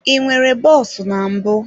I nwere bọs na mbụ.